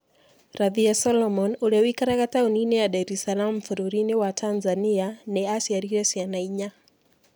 Radhia Solomon, ũrĩa ũikaraga taũni-inĩ ya Dar es Salaam bũrũri-inĩ wa Tanzania, nĩ aaciarire ciana inya.